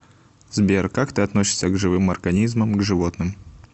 сбер как ты относишься к живым организмам к животным